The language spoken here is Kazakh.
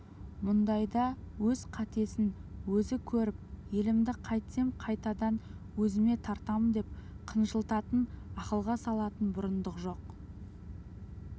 мұндайда өз қатесін өзі көріп елімді қайтсем қайтадан өзіме тартамдеп қынжылатын ақылға салатын бұрындық жоқ